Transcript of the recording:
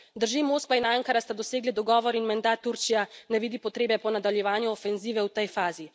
Drži, Moskva in Ankara sta dosegli dogovor in menda Turčija ne vidi potrebe po nadaljevanju ofenzive v tej fazi.